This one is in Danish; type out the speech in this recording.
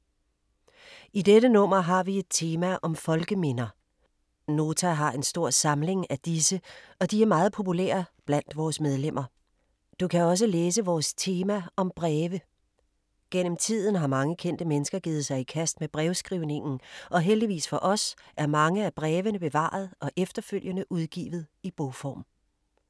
I dette nummer har vi et tema om folkeminder. Nota har en stor samling af disse og de er meget populære blandt vores medlemmer. Du kan også læse vores tema om Breve. Gennem tiden har mange kendte mennesker givet sig i kast med brevskrivningen og heldigvis for os er mange af brevene blevet bevaret og efterfølgende udgivet i bogform.